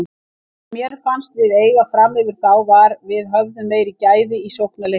Það sem mér fannst við eiga framyfir þá var við höfðum meiri gæði í sóknarleiknum.